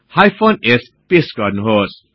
hyphen s paste गर्नुहोस्